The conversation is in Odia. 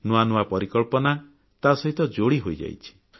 ନୂଆ ନୂଆ ପରିକଳ୍ପନା ତାସହିତ ଯୋଡ଼ି ହୋଇଯାଇଛି